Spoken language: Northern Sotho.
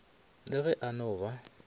le ge a no ba